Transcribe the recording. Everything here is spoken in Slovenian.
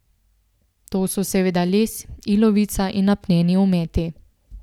To so seveda les, ilovica in apneni ometi.